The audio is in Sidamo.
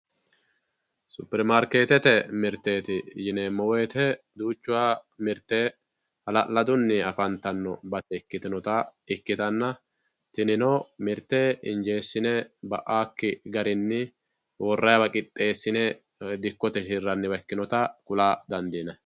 Supermarketete mirteti yineemo woyite duucha mirte haala`laduni afantanota ikinoha ikitana tinino mirte injeeshine ba`awoki garini worayiwa qixeesine dikote hiranita ikinote kula dandinayi